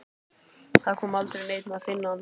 Það kom aldrei neinn að finna hann.